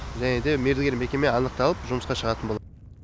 және де мердігер мекеме анықталып жұмысқа шығатын болады